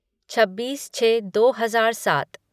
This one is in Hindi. छब्बीस छः दो हजार सात